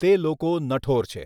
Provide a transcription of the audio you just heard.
તે લોકો નઠોર છે.